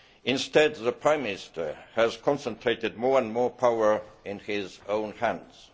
Instead, the Prime Minister has concentrated more and more power in his own hands.